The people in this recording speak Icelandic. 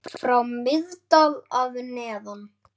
frá Miðdal að neðan.